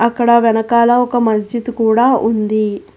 అక్కడ వెనకాల ఒక మస్జిద్ కూడా ఉంది.